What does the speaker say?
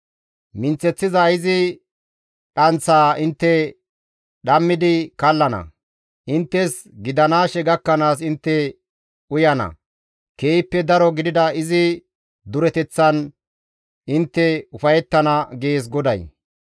Minththeththiza izi dhanththaa intte dhammidi kallana; inttes gidanaashe gakkanaas intte uyana; keehippe daro gidida izi dureteththan intte ufayettana» gees GODAY.